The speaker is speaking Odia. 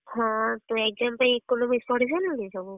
ହଁତୁ exam ପାଇଁ Economics ପଢିସାରିଲୁଣି ସବୁ?